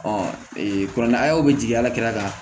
kuranɛ bɛ jigin ala kɛrɛ kan